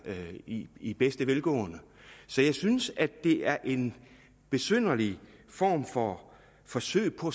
i i bedste velgående så jeg synes at det er en besynderlig form for forsøg på